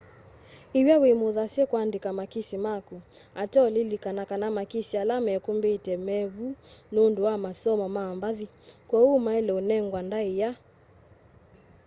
iw'a wimuthasye kuandika makisi maku ateo lilikana kana makisi ala mekumbite mevu nundu wa masomo ma mbathi kwoou maile unengwa ndaia